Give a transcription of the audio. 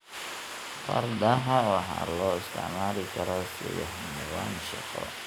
Fardaha waxa loo isticmaali karaa sidii xayawaan shaqo.